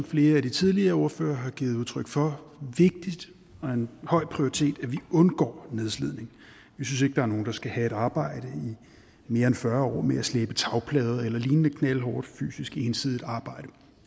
flere af de tidligere ordførere har givet udtryk for og en høj prioritet at vi undgår nedslidning vi synes ikke der er nogen der skal have et arbejde i mere end fyrre år med at slæbe tagplader eller lignende knaldhårdt fysisk ensidigt arbejde